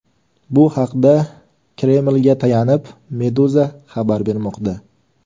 Bu haqda Kremlga tayanib, Meduza xabar bermoqda .